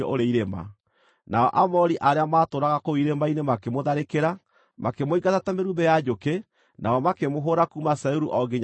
Nao Aamori arĩa maatũũraga kũu irĩma-inĩ makĩmũtharĩkĩra, makĩmũingata ta mĩrumbĩ ya njũkĩ, nao makĩmũhũũra kuuma Seiru o nginya Horoma.